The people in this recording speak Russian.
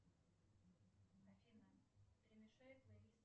афина перемешай плейлист